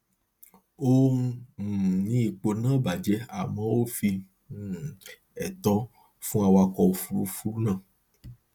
ó um ní ipo náà bajẹ àmọ ó fi um ẹtọ fún awakọ ọkọ òfuurufú náà